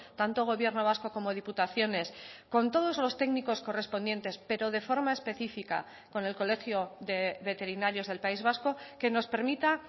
tanto gobierno vasco como diputaciones con todos los técnicos correspondientes pero de forma específica con el colegio de veterinarios del país vasco que nos permita